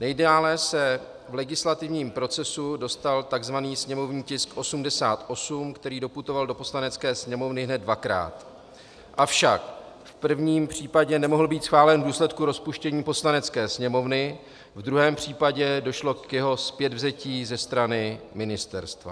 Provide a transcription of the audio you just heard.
Nejdále se v legislativním procesu dostal tzv. sněmovní tisk 88, který doputoval do Poslanecké sněmovny hned dvakrát, avšak v prvním případě nemohl být schválen v důsledku rozpuštění Poslanecké sněmovny, v druhém případě došlo k jeho zpětvzetí ze strany ministerstva.